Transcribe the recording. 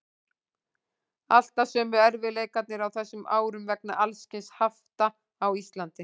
Alltaf sömu erfiðleikarnir á þessum árum vegna alls kyns hafta á Íslandi.